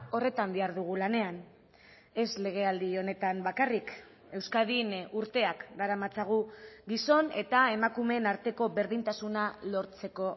horretan dihardugu lanean ez legealdi honetan bakarrik euskadin urteak daramatzagu gizon eta emakumeen arteko berdintasuna lortzeko